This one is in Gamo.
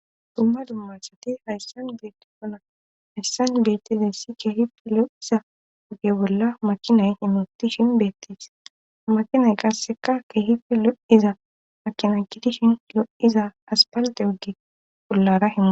dumma dummaa asati hayssan beetti funa hayssan beettide si kehife lo7iza ogge bolla makinay himitishin beettis makinay qasseka kehifi lo7iza makina jidishin lo7iza aspalde ogge pollara hia